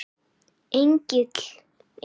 Egill Ingi.